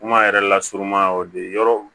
Kuma yɛrɛ lasurunya y'o de yɔrɔw